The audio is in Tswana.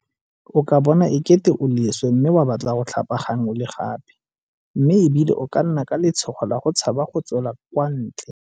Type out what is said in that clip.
O ka bona e kete o leswe mme wa batla go tlhapagangwe le gape mme e bile o ka nna ka letshogo le go tshaba go tswela kwa ntle.